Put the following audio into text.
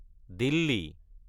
Delhi